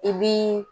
I b'i